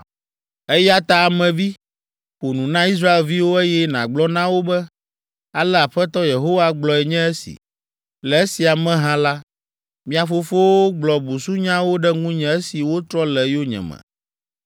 “Eya ta Ame vi, ƒo nu na Israelviwo, eye nàgblɔ na wo be, ‘Ale Aƒetɔ Yehowa gblɔe nye esi: le esia me hã la, mia fofowo gblɔ busunyawo ɖe ŋunye esi wotrɔ le yonyeme.